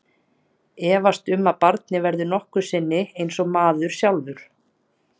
Efast um að barnið verði nokkru sinni eins og maður sjálfur.